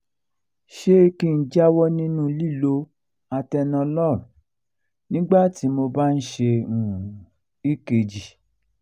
ṣé kí n jáwọ́ nínú lílo atenolol nígbà tí mo bá ń ṣe um ekg? um